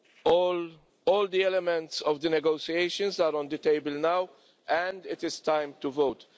All the elements of the negotiations are on the table now and it is time to vote.